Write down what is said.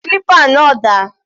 Clipper náà dà?